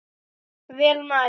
Vel mælt.